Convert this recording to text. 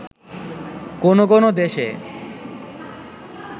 কোনো কোনো দেশে